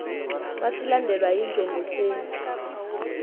xa silandelwa yinjongosenzi